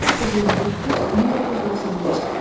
1929-1995.